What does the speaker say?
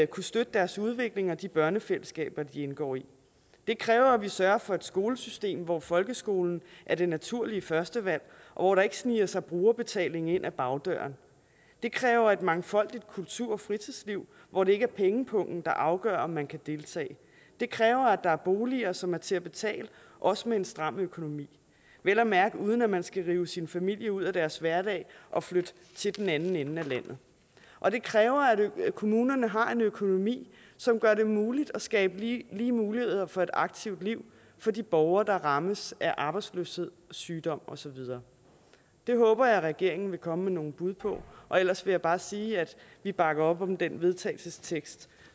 kunne støtte deres udvikling og de børnefællesskaber de indgår i det kræver at vi sørger for et skolesystem hvor folkeskolen er det naturlige førstevalg og hvor der ikke sniger sig brugerbetaling ind ad bagdøren det kræver et mangfoldigt kultur og fritidsliv hvor det ikke er pengepungen der afgør om man kan deltage det kræver at der er boliger som er til at betale også med en stram økonomi vel at mærke uden at man skal rive sin familie ud af deres hverdag og flytte til den anden ende af landet og det kræver at kommunerne har en økonomi som gør det muligt at skabe lige muligheder for et aktivt liv for de borgere der rammes af arbejdsløshed sygdom og så videre det håber jeg at regeringen vil komme med nogle bud på og ellers vil jeg bare sige at vi bakker op om den vedtagelsestekst